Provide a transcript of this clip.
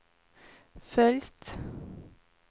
följt